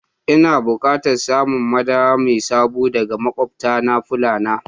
Ina bukatan samun madara mai sabo daga makwabtana Fulan